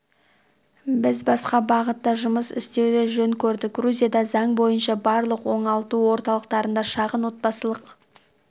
біз басқа бағытта жұмыс істеуді жөн көрдік грузияда заң бойынша барлық оңалту орталықтарында шағын отбасылық